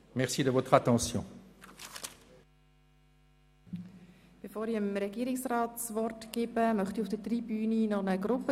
Bevor ich Regierungsrat Neuhaus das Wort erteile, möchte ich eine Gruppe begrüssen, die sich auf der Zuschauertribüne eingefunden hat.